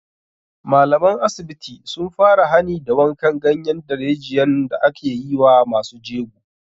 Malaman asibiti sun fara hani da wankan ganyen darejiyan da ake yi wa masu jego